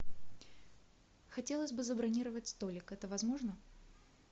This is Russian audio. хотелось бы забронировать столик это возможно